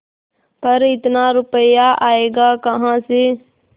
पर इतना रुपया आयेगा कहाँ से